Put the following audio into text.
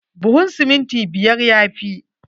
Buhun siminti biyar ya fi.